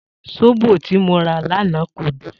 Sóbò tí mo rà lanaa kò dùn